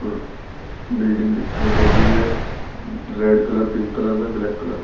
building दिखाई दे रही है रेड कलर पिंक कलर में ब्लैक कलर में--